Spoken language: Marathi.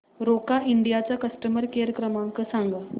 रोका इंडिया चा कस्टमर केअर क्रमांक सांगा